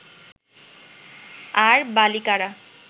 আর বালিকারা